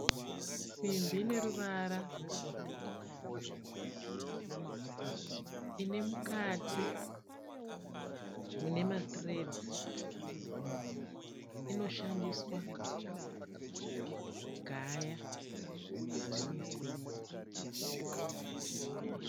Simbi ineruvara rwegoridhe, inemukati munemathreads inoshandiswa kugaya dzimwe simbi.